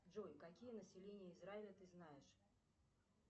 джой какие населения израиля ты знаешь